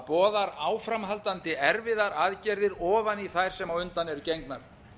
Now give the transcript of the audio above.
það boðar áframhaldandi erfiðar aðgerðir ofan í þær sem á undan eru gengnar